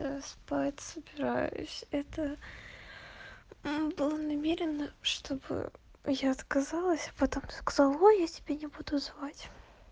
да спать собираюсь это да намеренно чтобы я отказалась потом сказала ой я тебя не буду звать